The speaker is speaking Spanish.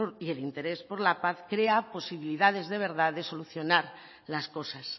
y el interés por la paz crea posibilidades de verdad de solucionar las cosas